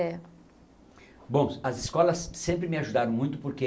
É. Bom, as escolas sempre me ajudaram muito porque